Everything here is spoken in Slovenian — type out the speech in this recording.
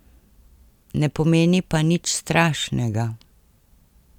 Ne pomeni pa nič strašnega.